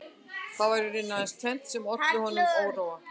Það var í rauninni aðeins tvennt sem olli honum óróa